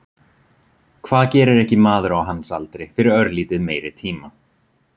Hvað gerir ekki maður á hans aldri fyrir örlítið meiri tíma?